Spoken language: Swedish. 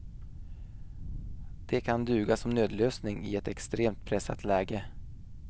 De kan duga som nödlösning i ett extremt pressat läge.